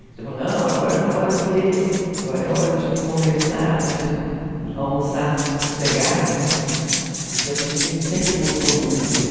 Ele falava, não, agora não é hora de ler, agora é hora da gente conversar, da gente almoçar sossegado, né, porque a gente sempre gostou muito de ler.